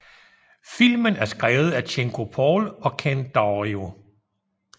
Filmen er skrevet af Cinco Paul og Ken Daurio